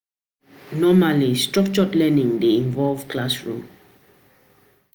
Normally, structured learning dey involve classroom